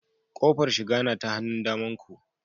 Kofar shiga na ta hannun damanku